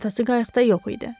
Atası qayıqda yox idi.